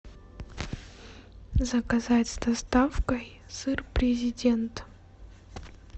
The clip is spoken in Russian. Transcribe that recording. заказать с доставкой сыр президент